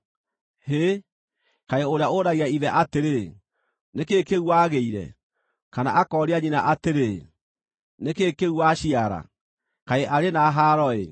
Hĩ, kaĩ ũrĩa ũragia ithe atĩrĩ, ‘Nĩ kĩĩ kĩu wagĩire?’ kana akooria nyina atĩrĩ, ‘Nĩ kĩĩ kĩu waciara?’ Kaĩ arĩ na haaro-ĩ!